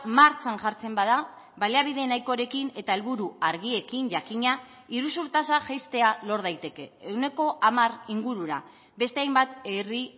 martxan jartzen bada baliabide nahikorekin eta helburu argiekin jakina iruzur tasa jaistea lor daiteke ehuneko hamar ingurura beste hainbat herri